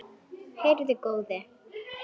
Heyrðu góði!